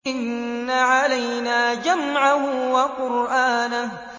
إِنَّ عَلَيْنَا جَمْعَهُ وَقُرْآنَهُ